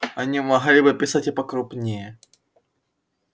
они могли бы писать и покрупнее